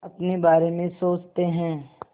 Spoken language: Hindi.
अपने बारे में सोचते हैं